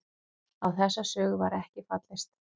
Á þessa sögu var ekki fallist